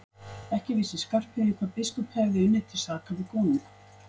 Ekki vissi Skarphéðinn hvað biskup hefði unnið til saka við konung.